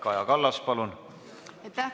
Kaja Kallas, palun!